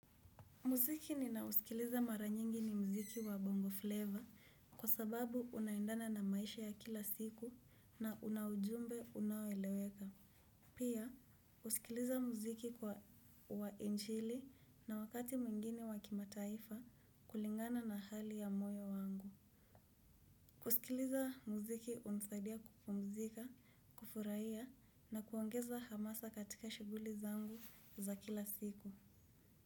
Muziki ninausikiliza mara nyingi ni mziki wa bongo flavor kwa sababu unaendana na maisha ya kila siku na una ujumbe unaoeleweka. Pia husikiliza mziki kwa wa injili na wakati mwingine wa kimataifa kulingana na hali ya moyo wangu. Kusikiliza mziki hunisaidia kupumzika, kufurahia na kuongeza hamasa katika shughuli zangu za kila siku.